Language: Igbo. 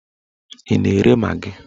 Ị na-ere magị?